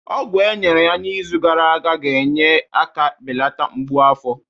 Ọgwụ e nyere ya n'izu gara aga na-enyere aka belata mgbu afọ